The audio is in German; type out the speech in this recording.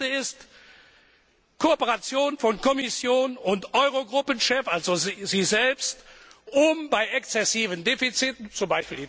Rompuy. Die erste ist Kooperation von Kommission und Eurogruppen Chef also Ihnen selbst um bei exzessiven Defiziten,